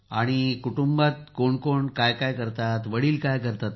आणि कुटुंबात कोण कोण काय करतात वडील काय करतात